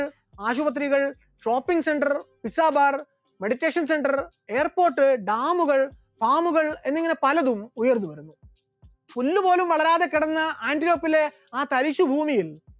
ആശുപത്രികൾ, shopping centre, visa bar, meditation centre, airport, dam കൾ, farm കൾ എന്നിങ്ങനെ പലതും ഉയർന്നുവരുന്നു, പുല്ലുപോലും വളരാതെ കിടന്ന ആന്റിലോപ്പിലെ ആ തരിശുഭൂമിയിൽ